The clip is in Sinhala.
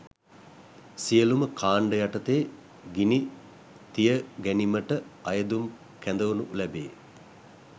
සියලුම කාණ්ඩ යටතේ ගිනි තියගනිමට අයදුම් පත් කැදවනු ලැබේ